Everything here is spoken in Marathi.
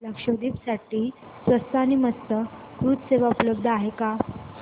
लक्षद्वीप साठी स्वस्त आणि मस्त क्रुझ सेवा उपलब्ध आहे का